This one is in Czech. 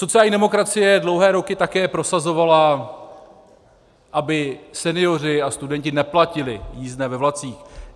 Sociální demokracie dlouhé roky také prosazovala, aby senioři a studenti neplatili jízdné ve vlacích.